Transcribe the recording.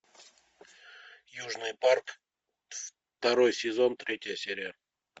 южный парк второй сезон третья серия